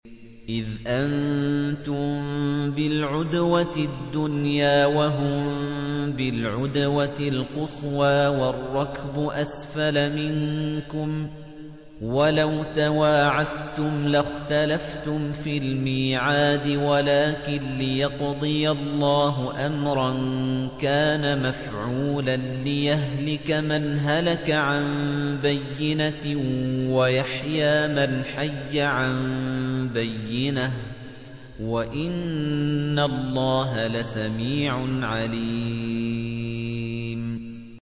إِذْ أَنتُم بِالْعُدْوَةِ الدُّنْيَا وَهُم بِالْعُدْوَةِ الْقُصْوَىٰ وَالرَّكْبُ أَسْفَلَ مِنكُمْ ۚ وَلَوْ تَوَاعَدتُّمْ لَاخْتَلَفْتُمْ فِي الْمِيعَادِ ۙ وَلَٰكِن لِّيَقْضِيَ اللَّهُ أَمْرًا كَانَ مَفْعُولًا لِّيَهْلِكَ مَنْ هَلَكَ عَن بَيِّنَةٍ وَيَحْيَىٰ مَنْ حَيَّ عَن بَيِّنَةٍ ۗ وَإِنَّ اللَّهَ لَسَمِيعٌ عَلِيمٌ